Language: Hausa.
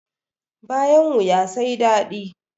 Bayan wuya sai dadi